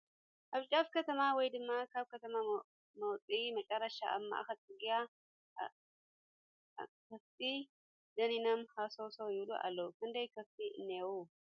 ኣብ ጫፍ ከተማ ወይ ድማ ካብ ከተማ መውፅኢ መጨረሻ ኣብ ማእኸል ፅርግያ ኣኻፍት ደኒኖም ሃሰውሰስ ይብሉ ኣለዉ ፡ ክንደይ ከፍቲ እንሄዉ ?